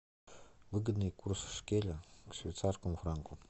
выгодный курс шекеля к швейцарскому франку